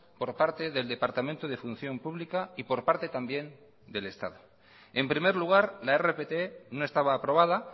por parte del departamento de función pública y por parte también del estado en primer lugar la rpt no estaba aprobada